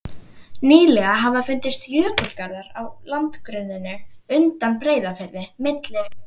Nýlega hafa fundist jökulgarðar á landgrunninu undan Breiðafirði, milli